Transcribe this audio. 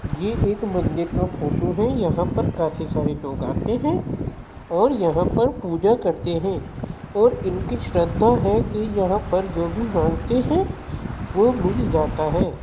ये एक मंदिर का फोटो है। यहां पर काफी सारे लोग आते हैं और यहां पर पूजा करते हैं और इनकी श्रद्धा है कि यहां पर जो भी मांगते हैं वो मिल जाता है।